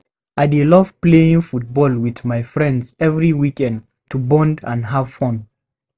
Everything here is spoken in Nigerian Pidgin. I dey love playing football with my friends every weekend to bond and have fun.